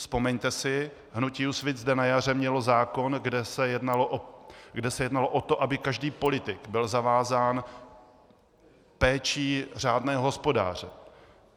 Vzpomeňte si, hnutí Úsvit zde na jaře mělo zákon, kde se jednalo o to, aby každý politik byl zavázán péčí řádného hospodáře.